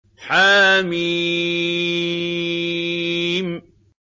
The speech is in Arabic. حم